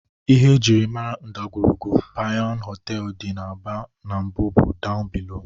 Ihe e jiri mara ndagwurugwu Panyu họteelụ dị n'Aba n'mbụ bụ "down below".